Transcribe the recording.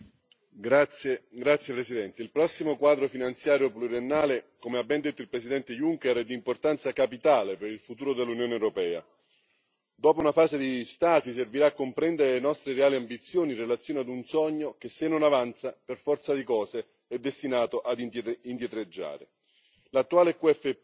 Signor Presidente, onorevoli colleghi, il prossimo quadro finanziario pluriennale, come ha ben detto il Presidente Juncker, è di importanza capitale per il futuro dell'Unione europea. Dopo una fase di stasi, servirà a comprendere le nostre reali ambizioni in relazione a un sogno che, se non avanza, per forza di cose è destinato a indietreggiare.